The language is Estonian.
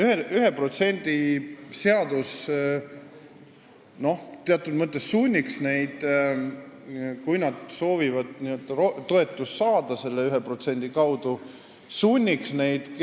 1% seadus sunniks neid teatud mõttes näo rahva poole keerama, kui nad soovivad selle 1% kaudu toetust saada.